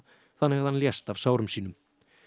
þannig að hann lést af sárum sínum